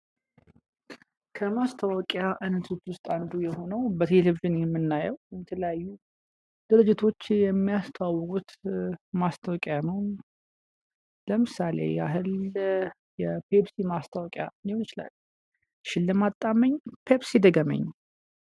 ከማስታወቂያ አይነቶች ውስጥ አንዱ የሆኑው በቴሌቪዥን የሚናየው በተለያዩ ድርጅቶች የሚያስታውቁት ማስታወቂያ ነው። ለምሳሌ ያህል የፔፕሲ ማስታወቂያ ሊሆን ይችላል ሽልማት ጣመኝ ፔፕሲ ድገመኝ።